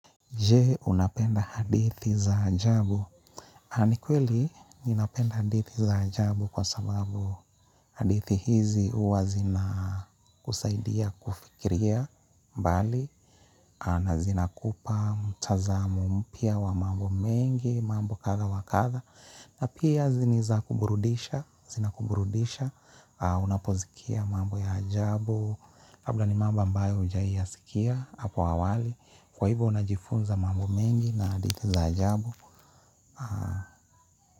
Je? Unapenda hadithi za ajabu. Ani kweli, ninapenda hadithi za ajabu kwa sababu hadithi hizi uwa zina kusaidia kufikiria mbali. Na zina kupa mtazamo mpya wa mambo mengi, mambo kadha wa kadha. Na pia ziniza kuburudisha, zina kuburudisha. Unapozikia mambo ya ajabu. Habla ni mambo ambayo hujai yasikia, hapo awali. Kwa hivyo unajifunza mambo mengi na hadithi za ajabu.